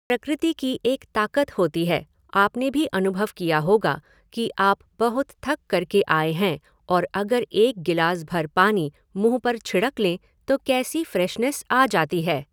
प्रकृति की एक ताक़त होती है, आपने भी अनुभव किया होगा कि आप बहुत थक करके आए हैं और अगर एक गिलास भर पानी मुँह पर छिड़क लें तो कैसी फ़्रेशनेस आ जाती है।